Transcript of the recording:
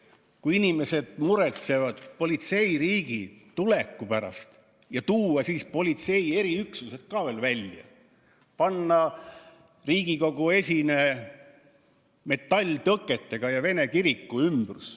–, et siis, kui inimesed muretsevad politseiriigi tuleku pärast, tuuakse välja politsei eriüksused ja pannakse Riigikogu esine ja Vene kiriku ümbrus metalltõketega kinni?